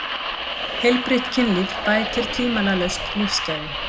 Heilbrigt kynlíf bætir tvímælalaust lífsgæði.